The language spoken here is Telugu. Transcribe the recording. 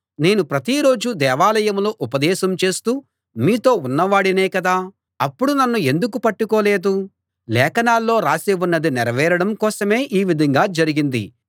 నేను ప్రతి రోజూ దేవాలయంలో ఉపదేశం చేస్తూ మీతో ఉన్నవాడినే కదా అప్పుడు నన్ను ఎందుకు పట్టుకోలేదు లేఖనాల్లో రాసి ఉన్నది నెరవేరడం కోసమే ఈ విధంగా జరిగింది